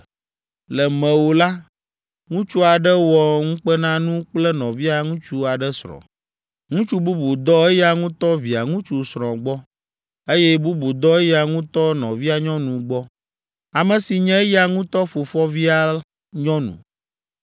Le mewò la, ŋutsu aɖe wɔ ŋukpenanu kple nɔvia ŋutsu aɖe srɔ̃, ŋutsu bubu dɔ eya ŋutɔ via ŋutsu srɔ̃ gbɔ, eye bubu dɔ eya ŋutɔ nɔvia nyɔnu gbɔ, ame si nye eya ŋutɔ fofovia nyɔnu.